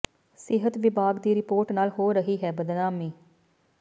ਸਿਹਤ ਵਿਭਾਗ ਦੀ ਰਿਪੋਰਟ ਨਾਲ ਹੋ ਰਹੀ ਹੈ ਬਦਨਾਮੀ